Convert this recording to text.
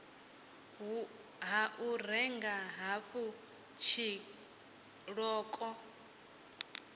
ha u renga hafhu tshiṱoko